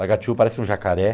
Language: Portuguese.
Lagatiú parece um jacaré.